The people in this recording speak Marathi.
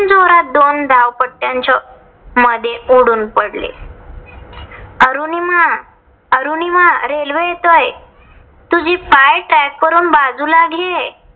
जोरात दोन धावपट्ट्यांच्या मध्ये उडून पडले. अरुनिमा अरुनिमा रेल्वे येतोय. तुझे पाय track वरून बाजूला घे.